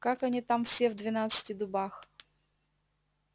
как они там все в двенадцати дубах